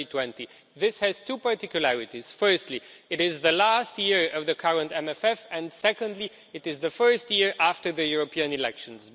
2020. This has two particularities firstly, it is the last year of the current MFF, and secondly, it is the first year after the European elections.